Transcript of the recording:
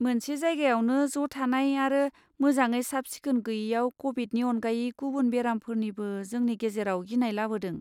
मोनसे जायगायावनो ज' थानाय आरो मोजाङै साब सिखोन गोयिआ क'भिदनि अनगायै गुबुन बेरामफोरनिबो जोंनि गेजेराव गिनाय लाबोदों।